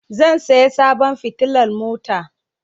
Zan saya sabon fitilan mota